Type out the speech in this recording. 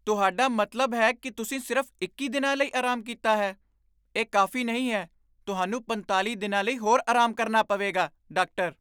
ਤੁਹਾਡਾ ਮਤਲਬ ਹੈ ਕੀ ਤੁਸੀਂ ਸਿਰਫ਼ ਇੱਕੀ ਦਿਨਾਂ ਲਈ ਆਰਾਮ ਕੀਤਾ ਹੈ? ਇਹ ਕਾਫ਼ੀ ਨਹੀਂ ਹੈ ਤੁਹਾਨੂੰ ਪੰਤਾਲ਼ੀ ਦਿਨਾਂ ਲਈ ਹੋਰ ਆਰਾਮ ਕਰਨਾ ਪਵੇਗਾ ਡਾਕਟਰ